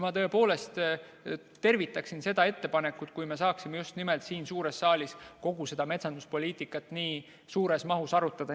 Ma tõepoolest tervitaksin seda ettepanekut, kui me saaksime just siin suures saalis kogu seda metsanduspoliitikat nii suures mahus arutada.